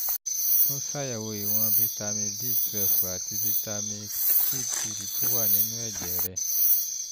tún ṣàyẹ̀wò ìwọ̀n ṣàyẹ̀wò ìwọ̀n fitamin b twelve àti fitamin d three tó wà nínú ẹ̀jẹ̀ rẹ